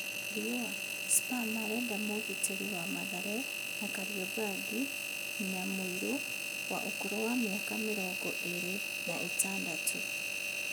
(Riũa) Spa marendamũgitĩri wa Mathare na Kariombangi Nyamũirũ, wa ũkũrũ wa mĩaka mĩrongo ĩrĩ na ĩtandatũ.